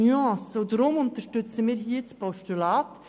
Deshalb unterstützen wir hier ein Postulat.